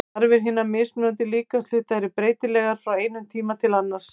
Þarfir hinna mismunandi líkamshluta eru breytilegar frá einum tíma til annars.